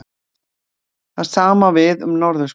Það sama á við um norðurskautið.